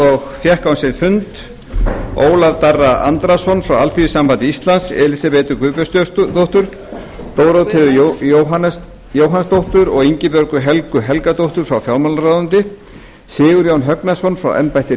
og fékk á sinn fund ólaf darra andrason frá alþýðusambandi íslands elísabetu guðbjörnsdóttur dórótheu jóhannsdóttur og ingibjörgu helgu helgadóttur frá fjármálaráðuneyti sigurjón högnason frá embætti